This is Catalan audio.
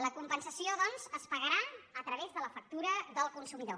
la compensació doncs es pagarà a través de la factura del consumidor